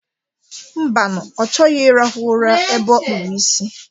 Mbanu, ọ chọghị irahụ ụra ebe ọ kpụrụ isi.